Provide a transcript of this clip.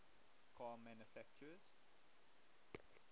car manufacturers